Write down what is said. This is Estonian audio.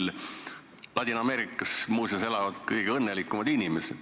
Muuseas, Ladina-Ameerikas elavad kõige õnnelikumad inimesed.